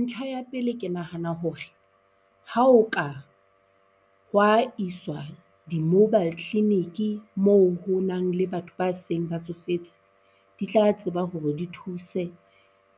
Ntlha ya pele ke nahana hore ha ho ka hwa iswa di-mobile clinic-e mo ho nang le batho ba seng ba tsofetse, di tla tseba hore di thuse